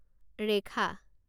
ৰেখা